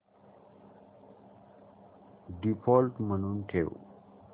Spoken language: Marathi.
डिफॉल्ट म्हणून ठेव